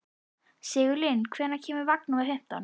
Sigurlinn, hvenær kemur vagn númer fimmtán?